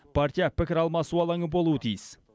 партия пікір алмасу алаңы болуы тиіс